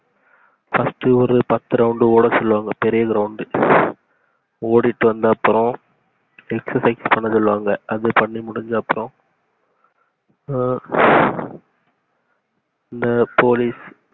first ட்டு ஒரு பத்து round ஓட சொல்லுவாங்க பெரிய ground ஓடிட்டு வந்தப்பறம் excesice பண்ண சொல்லுவாங்க அத பண்ணி முடிஞ்சப்பறம் இந்த போலீஸ்